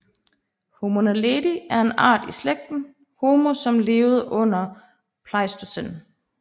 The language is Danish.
Homo naledi er en art i slægten Homo som levede under pleistocæn